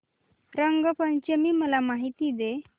रंग पंचमी ची मला माहिती दे